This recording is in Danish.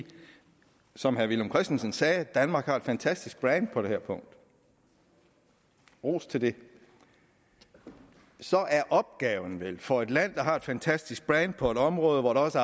som herre villum christensen sagde at danmark har et fantastisk brand på det her punkt ros til det så er opgaven vel for et land der har et fantastisk brand på et område der også